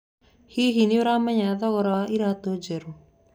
Hihi nĩũramenya thogora wa iratũ njerũ?